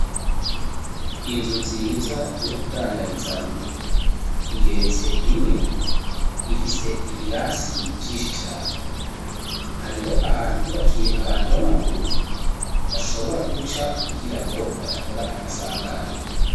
Inzu nziza yo kudandarizamwo igeretse rimwe, ifise ibirasi vyinshi cane. Hariho ahantu bubakiye abantu b'amaguru, bashobora guca kugirango ntibakore amasanganya.